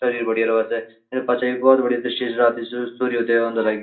सरीर बडिया राऊ छे तै पश्चात यु भौत बडिया दृश्य च राती कु सूर्योदय होंद लगी।